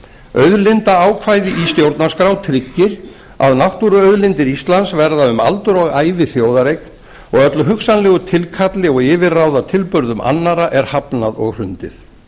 auðlindaákvæði í stjórnarskrá tryggir að náttúruauðlindir íslands verða um aldur og ævi þjóðareign og öllu hugsanlegu tilkalli og yfirráðatilburðum annarra er hafnað og hrundið